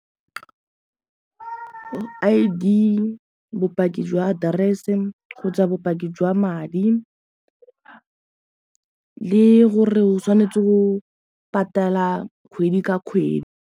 I_D, bopaki jwa address-e kgotsa bopaki jwa madi le gore o tshwanetse go patela kgwedi ka kgwedi.